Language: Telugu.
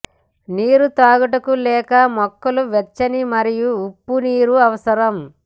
నీరు త్రాగుటకు లేక మొక్కలు వెచ్చని మరియు ఉప్పు నీరు అవసరం